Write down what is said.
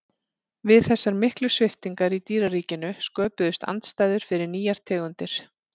við þessar miklu sviptingar í dýraríkinu sköpuðust aðstæður fyrir nýjar tegundir